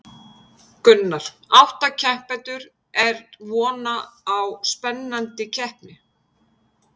Gunnar: Átta keppendur, er vona á spennandi keppni?